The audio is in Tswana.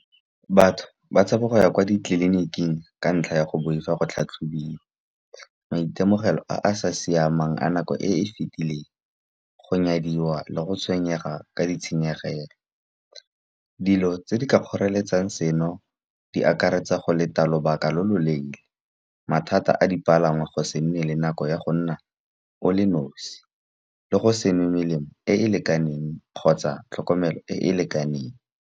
Batho ba tshaba go ya kwa ditleliniking ka ntlha ya go boifa go tlhatlhobiwa. Maitemogelo a a sa siamang a nako e e fitileng, go nyadiwa le go tshwenyega ka ditshenyegelo, dilo tse di ka kgoreletsang seno di akaretsa go leta lobaka lo lo leele. Mathata a dipalangwa go se nne le nako ya go nna o le nosi, le go sevnwe melemo e e lekaneng, kgotsa tlhokomelo e e lekaneng.